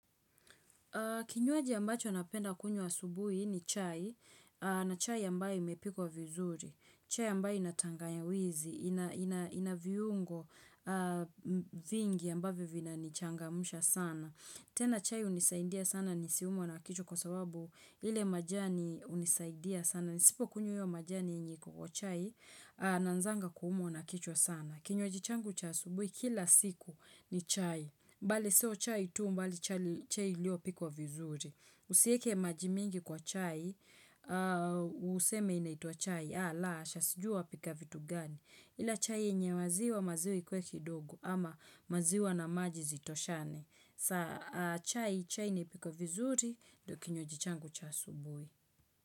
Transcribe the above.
Kinywaji ambacho napenda kunywa asubuhi ni chai na chai ambayo imepikuwa vizuri, chai ambayo ina tangawizi, ina viungo vingi ambayo vinanichangamusha sana. Tena chai hunisaindia sana nisiumwe na kichwa kwa sababu ile majani hunisaindia sana. Nisipo kunywa hiyo majani yenye iko kwa chai naanzanga kuumwa na kichwa sana. Kinywaji changu cha asubuhi kila siku ni chai. Bali sio chai tu bali chai iliyopikwa vizuri. Usieke maji mingi kwa chai, useme inaituwa chai. Ah, la, hasha sijui wapika vitu gani. Ila chai yenye maziwa, maziwa ikuwe kidogo ama maziwa na maji zitoshane. Sa, chai, chai ni ipikwe vizuri, ndio kinywaji changu cha asubui.